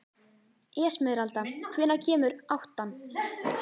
Esmeralda, hvenær kemur áttan?